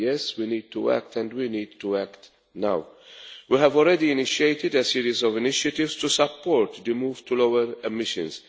Yes, we need to act, and we need to act now. We have already initiated a series of initiatives to support the move to lower emissions.